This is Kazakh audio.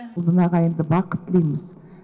бүгін ағайынды бақыт тілейміз